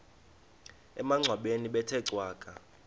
emangcwabeni bethe cwaka